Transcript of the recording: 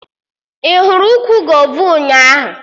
Ị hụrụ ukwu gova ụnyaahụ?